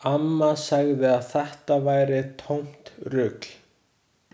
Amma sagði að þetta væri tómt rugl.